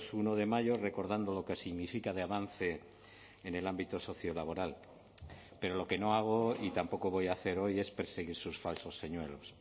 uno de mayo recordando lo que significa de avance en el ámbito socio laboral pero lo que no hago y tampoco voy a hacer hoy es perseguir sus falsos señuelos